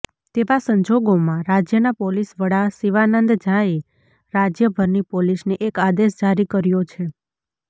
તેવા સંજોગોમાં રાજ્યના પોલીસ વડા શિવાનંદ ઝાએ રાજયભરની પોલીસને એક આદેશ જારી કર્યો છે